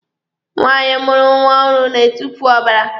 Nwaanyị mụrụ nwa ọhụrụ na-etufu ọbara.